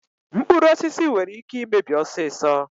Mkpụrụ osisi nwere ike imebi ọsịsọ.